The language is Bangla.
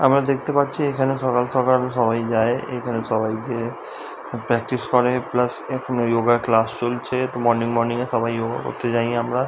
আমরা দেখতে পাচ্ছি এখানে সকাল সকাল সবাই যায় এখানে সবাই গিয়ে প্র্যাকটিস করে প্লাস এখানে যোগা ক্লাস চলছে তো মর্নিং মর্নিং এ সবাই যোগা করতে যাই আমরা।